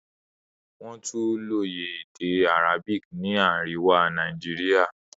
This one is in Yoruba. Wọ́n tún lóye èdè Arabic ní àríwá Nàìjíríà.